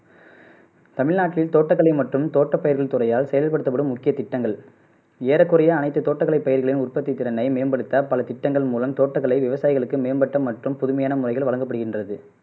தமிழ்நாட்டில் தோட்டக்கலை மற்றும் தோட்டப்பயிர்கள் துறையால் செயல்படுத்தப்படும் முக்கிய திட்டங்கள் ஏறக்குறைய அனைத்து தோட்டக்கலை பயிர்களின் உற்பத்தி திறனை மேம்படுத்த பல திட்டங்கள் மூலம் தோட்டக்கலை விவசாயிகளுக்கு மேம்பட்ட மற்றும் புதுமையான முறைகள் வழங்கப்படுகின்றது